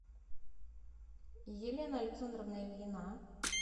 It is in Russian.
елена александровна ильина